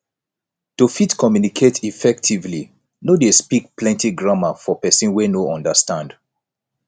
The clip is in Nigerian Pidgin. to fit communicate effectively no de speak plenty grammar for persin wey no understand